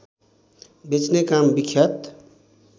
बेच्ने काम विख्यात